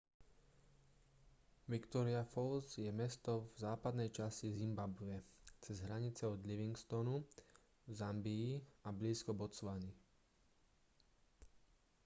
victoria falls je mesto v západnej časti zimbabwe cez hranice od livingstonu v zambii a blízko botswany